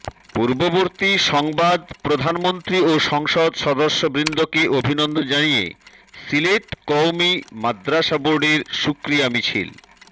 পূর্ববর্তী সংবাদপ্রধানমন্ত্রী ও সংসদ সদস্যবৃন্দকে অভিনন্দন জানিয়ে সিলেট কওমি মাদরাসা বোর্ডের শুকরিয়া মিছিল